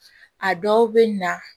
A dɔw bɛ na